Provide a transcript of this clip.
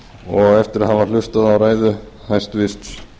og eftir að hafa hlustað á ræðu hæstvirts